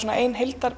ein